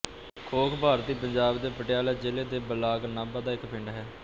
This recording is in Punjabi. ਖੋਖ ਭਾਰਤੀ ਪੰਜਾਬ ਦੇ ਪਟਿਆਲਾ ਜ਼ਿਲ੍ਹੇ ਦੇ ਬਲਾਕ ਨਾਭਾ ਦਾ ਇੱਕ ਪਿੰਡ ਹੈ